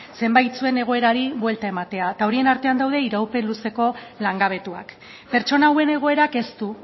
zenbaitzuen egoerari buelta ematea horien artean daude iraupen luzeko langabetuak pertsona hauen egoerak ez du